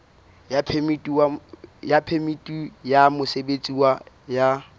ya phemiti ya mosebetsi ya